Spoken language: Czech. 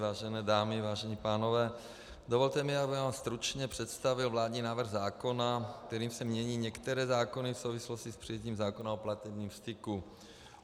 Vážené dámy, vážení pánové, dovolte mi, abych vám stručně představil Vládní návrh zákona, kterým se mění některé zákony v souvislosti s přijetím zákona o platebním styku.